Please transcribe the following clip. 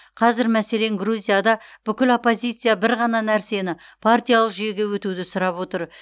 қазір мәселен грузияда бүкіл оппозиция бір ғана нәрсені партиялық жүйеге өтуді сұрап отыр